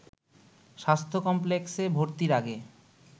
স্বাস্থ্য কমপ্লেক্সে ভর্তির আগে